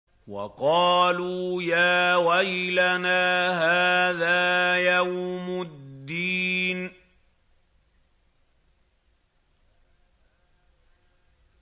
وَقَالُوا يَا وَيْلَنَا هَٰذَا يَوْمُ الدِّينِ